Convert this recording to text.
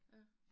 Ja